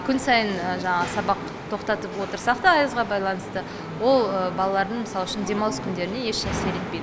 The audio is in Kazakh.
күн сайын жанағы сабақ тоқтатып отырсақ та аязға байланысты ол балалардың мысалы үшін демалыс күндеріне еш әсер етпейді